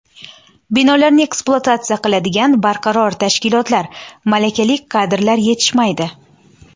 Binolarni ekspluatatsiya qiladigan barqaror tashkilotlar, malakali kadrlar yetishmaydi.